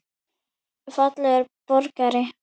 Fallegur borgari?